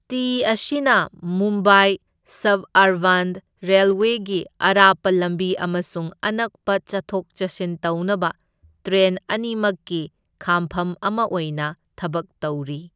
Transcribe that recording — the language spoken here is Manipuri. ꯇꯤ ꯑꯁꯤꯅ ꯃꯨꯝꯕꯥꯏ ꯁꯕꯑꯔꯕꯥꯟ ꯔꯦꯜꯋꯦꯒꯤ ꯑꯔꯥꯞꯄ ꯂꯝꯕꯤ ꯑꯃꯁꯨꯡ ꯑꯅꯛꯄ ꯆꯠꯊꯣꯛ ꯆꯠꯁꯤꯟ ꯇꯧꯅꯕ ꯇ꯭ꯔꯦꯟ ꯑꯅꯤꯃꯛꯀꯤ ꯈꯥꯝꯐꯝ ꯑꯃ ꯑꯣꯏꯅ ꯊꯕꯛ ꯇꯧꯔꯤ꯫